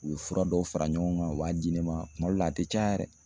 U be fura dɔw fara ɲɔgɔn kan u b'a di ne ma, kuma dɔ la a tɛ caya yɛrɛ